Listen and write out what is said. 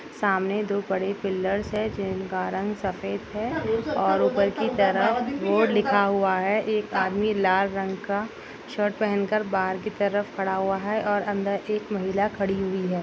सामने दो बड़े पिल्लर्स है जिनका रंग सफ़ेद है और उधर की तरफ बोर्ड लिखा हुआ है एक आदमी लाल रंग का शर्ट पहन कर बाहर की तरफ खड़ा हुआ है और अंदर एक महिला खड़ी हुई है।